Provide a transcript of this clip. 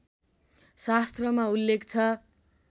शास्त्रमा उल्लेख छ